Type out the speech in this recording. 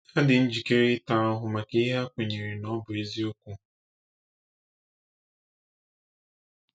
Ha dị njikere ita ahụhụ maka ihe ha kwenyere na ọ bụ eziokwu.